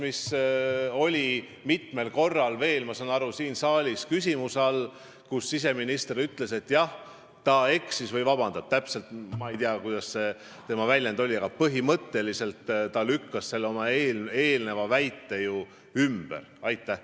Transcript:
Ma saan aru, et too kõne oli veel mitmel korral siin saalis küsimuse all ja siseminister ütles, et jah, ta eksis või et ta palub vabandust – täpselt ma ei tea, kuidas ta end väljendas –, aga põhimõtteliselt ta lükkas oma eelnenud väite ümber.